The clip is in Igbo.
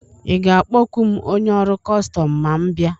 Ị ga-akpọku m onye ọrụ kọstọm ma m bịa?